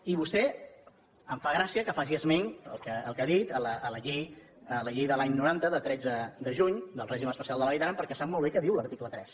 i vostè em fa gràcia que faci esment del que ha dit de la llei de l’any noranta de tretze de juny del règim especial de la vall d’aran perquè sap molt bé què diu l’article tres